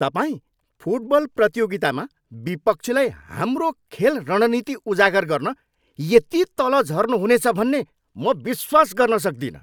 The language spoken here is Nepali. तपाईँ फुटबल प्रतियोगितामा विपक्षीलाई हाम्रो खेल रणनीति उजागर गर्न यति तल झर्नुहुनेछ भन्ने म विश्वास गर्न सक्दिनँ।